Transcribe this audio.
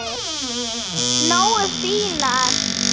Nógu fínar?